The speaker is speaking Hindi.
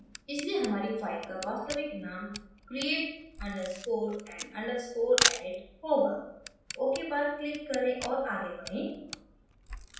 इसलिये हमारी file का वास्तविक name create underscore and underscore edit होगा ok पर click करें और आगे बढ़े